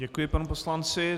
Děkuji panu poslanci.